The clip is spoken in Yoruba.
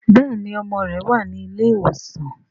béèni ọmọ rẹ wá ní ilé ìwòsan.